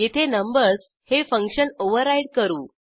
येथे नंबर्स हे function override करू